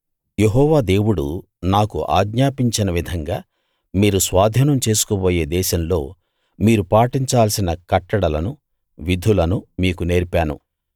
యెహోవా దేవుడు నాకు ఆజ్ఞాపించిన విధంగా మీరు స్వాధీనం చేసుకోబోయే దేశంలో మీరు పాటించాల్సిన కట్టడలను విధులను మీకు నేర్పాను